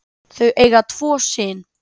Þau eiga tvo syn.